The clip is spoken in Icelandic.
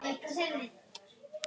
Þín dóttir, Harpa Lind.